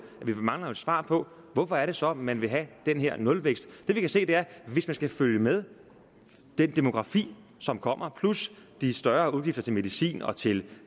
vi mangler et svar på hvorfor det så er man vil have den her nulvækst det vi kan se er at hvis man skal følge med den demografi som kommer plus de større udgifter til medicin og til